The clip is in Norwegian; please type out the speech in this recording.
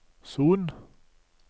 Son